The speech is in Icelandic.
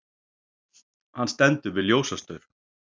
Hann stendur við ljósastaur.